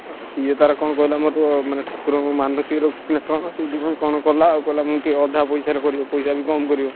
ସିଏ ତାର କଣ କହିଲା ମାନେ ଠାକୁର ଙ୍କୁ ମାନସିକ ରଖିଛି ନାଁ କଣ ସେଥିପାଇଁ କଣ କଲା ଆଉକହିଲା ଅଧା ପଇସା ରେ କରିବ ପଇସା ବି କମ କରିବ।